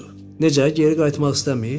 Necə, geri qayıtmaq istəmir?